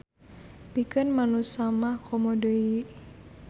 Pikeun manusa mah komo deui.